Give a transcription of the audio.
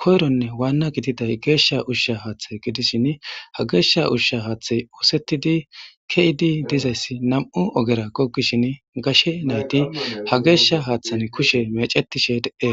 koyronne Wana gididay gesha usha hathe gidishn ha gesha usha hathey osetid ke'id dizays 2 ogera gogishn gashe nayt ha gesha hathen kushe mecetishe detes.